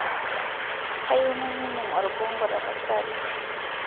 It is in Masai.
kayieu nainining' orbongo tapasali